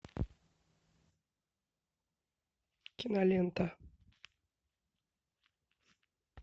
кинолента